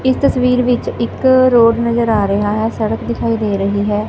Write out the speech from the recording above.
। ਇਸ ਤਸਵੀਰ ਵਿੱਚ ਇੱਕ ਰੋਡ ਨਜ਼ਰ ਆ ਰਿਹਾ ਹੈ ਸੜਕ ਦਿਖਾਈ ਦੇ ਰਹੀ ਹੈ।